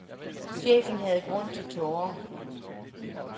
Chefen havde grund til tårer.